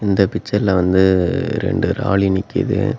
இந்த பிச்சர்ல வந்து ரெண்டு ராலி நிக்கிது.